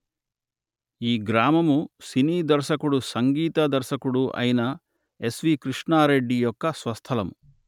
ఈ గ్రామము సినీ దర్శకుడు సంగీత దర్శకుడు అయిన ఎస్.వి.కృష్ణారెడ్డి యొక్క స్వస్థలము